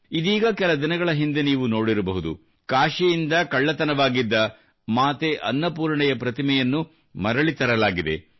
ಇದೀಗ ಕೆಲ ದಿನಗಳ ಹಿಂದೆ ನೀವು ನೋಡಿರಬಹುದು ಕಾಶಿಯಿಂದ ಕಳ್ಳತನಗೊಂಡಿದ್ದ ಮಾತೆ ಅನ್ನಪೂರ್ಣೆಯ ಪ್ರತಿಮೆಯನ್ನು ಮರಳಿ ತರಲಾಗಿತ್ತು